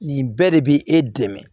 Nin bɛɛ de bi e dɛmɛ